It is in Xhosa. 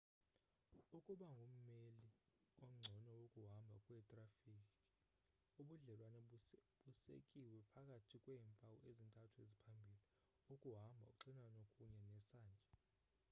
ukuba ngumeli ongcono wokuhamba kwetrafikhi ubudlelwane busekiwe phakathi kweempawu ezintathu eziphambili: 1 ukuhamba 2 uxinano kunye 3 nesantya